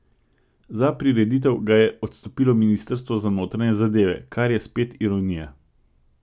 Za prireditev ga je odstopilo ministrstvo za notranje zadeve, kar je spet ironija.